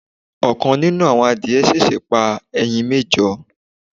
ikán nínù awọ́n àdiẹ sẹ̀sẹ̀ pa ẹyin méjọ